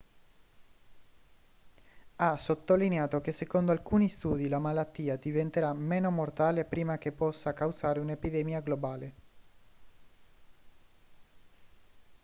ha sottolineato che secondo alcuni studi la malattia diventerà meno mortale prima che possa causare un'epidemia globale